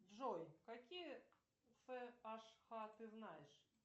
джой какие фэ аш ха ты знаешь